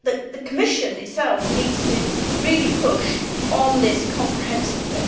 the Commission itself needs to really push on this comprehensively.